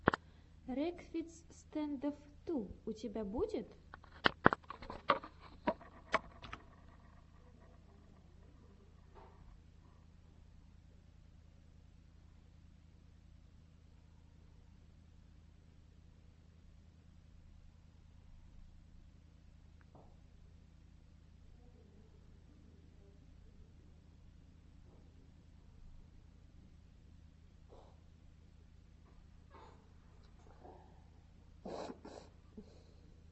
рекфиц стэндофф ту у тебя будет